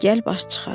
De, gəl, baş çıxar.